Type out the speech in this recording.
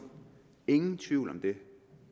ingen tvivl om det